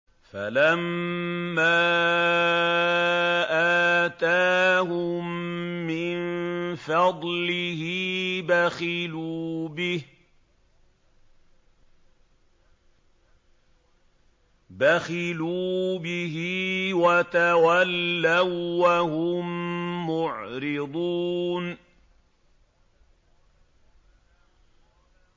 فَلَمَّا آتَاهُم مِّن فَضْلِهِ بَخِلُوا بِهِ وَتَوَلَّوا وَّهُم مُّعْرِضُونَ